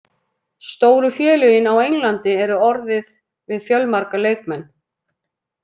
Stóru félögin á Englandi eru orðið við fjölmarga leikmenn.